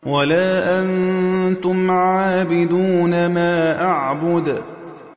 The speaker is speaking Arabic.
وَلَا أَنتُمْ عَابِدُونَ مَا أَعْبُدُ